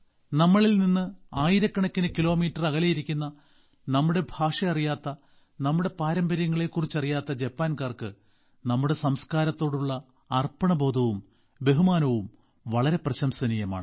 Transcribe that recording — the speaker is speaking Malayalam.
നമ്മളിൽനിന്ന് ആയിരക്കണക്കിന് കിലോമീറ്റർ അകലെയിരിക്കുന്ന നമ്മുടെ ഭാഷ അറിയാത്ത നമ്മുടെ പാരമ്പര്യങ്ങളെക്കുറിച്ച് അറിയാത്ത ജപ്പാൻകാർക്ക് നമ്മുടെ സംസ്കാരത്തോടുള്ള അർപ്പണബോധവും ബഹുമാനവും വളരെ പ്രശംസനീയമാണ്